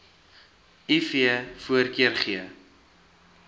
iv voorkeur gee